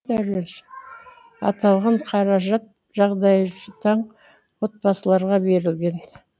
аталған қаражат жағдайы жұтаң отбасыларға берілген